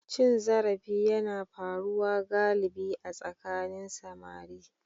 Cin zarafi yana faruwa galibi a tsakanin samari.